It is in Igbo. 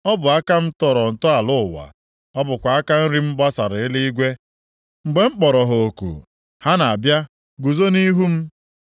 Ọ bụ aka m tọrọ ntọala ụwa. Ọ bụkwa aka nri m gbasara eluigwe. Mgbe m kpọrọ ha oku ha na-abịa guzo nʼihu m.